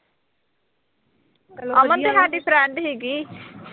ਅਮਨ ਤੇ ਸਾਡੀ friend ਸੀਗੀ।